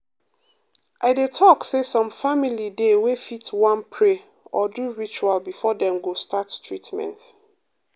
i dey talk say some family dey wey fit wan pray or do ritual before dem go start treatment.